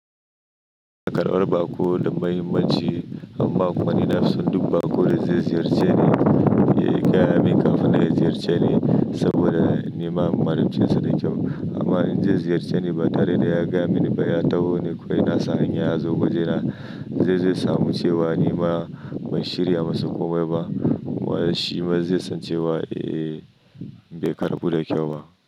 Kar bar baƙo na da muhimmanci amma kuma ni nafi son duk baƙo da zai ziyarce ni ya yi gaya min kafin ya ziyarce ni saboda ni ma in ma'amalce sa da kyau. Amma in zai ziyarce ni ba tare da ya gaya mini ba, ya taho ni kawai na sani ya zo, wajena zai samu cewa ni ma ban shirya masa komai ba, shi ma zai san cewa, "Eh, bai karɓu da kyau ba."